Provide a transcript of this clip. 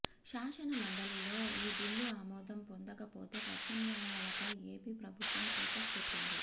శాసనమండలిలో ఈ బిల్లు ఆమోదం పొందకపోతే ప్రత్యామ్నాయాలపై ఏపీ ప్రభుత్వం ఫోకస్ పెట్టింది